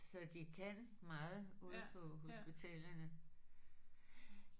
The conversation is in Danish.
Så de kan meget ude på hospitalerne